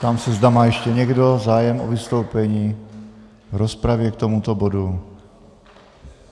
Ptám se, zda má ještě někdo zájem o vystoupení v rozpravě k tomuto bodu.